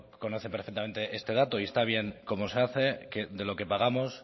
conoce perfectamente este dato y está bien como se hace de lo que pagamos